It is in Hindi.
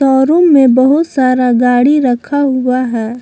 शोरूम में बहुत सारा गाड़ी रखा हुआ है।